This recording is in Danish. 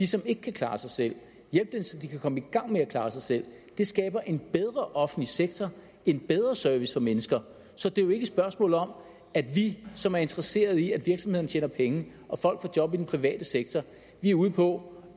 som ikke kan klare sig selv hjælpe dem så de kan komme i gang med at klare sig selv det skaber en bedre offentlig sektor en bedre service for mennesker så det er jo ikke et spørgsmål om at vi som er interesseret i at virksomhederne tjener penge og folk får job i den private sektor er ude på